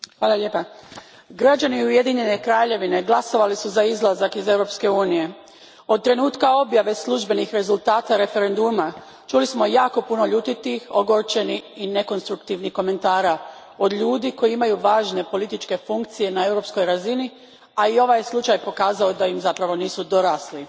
Gospodine predsjedniče, građani Ujedinjene Kraljevine glasovali su za izlazak iz Europske unije. Od trenutka objave službenih rezultata referenduma čuli smo jako puno ljutitih, ogorčenih i nekonstruktivnih komentara od ljudi koji imaju važne političke funkcije na europskoj razini, a i ovaj je slučaj pokazao da im zapravo nisu dorasli.